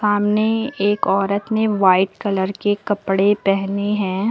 समने एक औरत ने व्हाइट कलर के कपड़े पहने हैं।